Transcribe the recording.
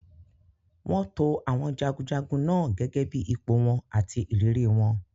Wọ́n to àwọn jagunjagun náà gẹ́gẹ́ bí ipò àti ìrírí wọn.